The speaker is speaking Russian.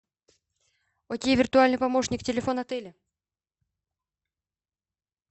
окей виртуальный помощник телефон отеля